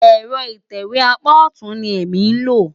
Ẹ̀rọ ìtẹ̀wé apá ọ̀tún ni èmi lò.